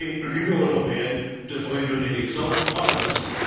L'Union européenne devrait donner l'exemple en la matière.